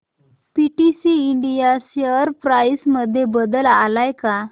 PTC India share price मध्ये बदल आलाय का